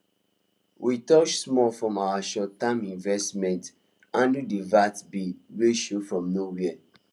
we touch small from our shortterm investment handle the vet bill wey show from nowhere